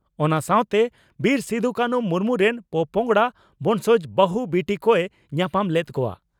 ᱚᱱᱟ ᱥᱟᱣᱛᱮ ᱵᱤᱨ ᱥᱤᱫᱩᱼᱠᱟᱹᱱᱦᱩ ᱢᱩᱨᱢᱩ ᱨᱮᱱ ᱯᱳᱯᱚᱸᱜᱽᱲᱟ (ᱵᱚᱸᱥᱚᱡᱽ) ᱵᱟᱹᱦᱩ, ᱵᱤᱴᱤ ᱠᱚᱭ ᱧᱟᱯᱟᱢ ᱞᱮᱫ ᱠᱚᱣᱟ ᱾